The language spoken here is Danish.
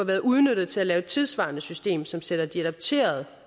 været udnyttet til at lave et tidssvarende system som sætter de adopterede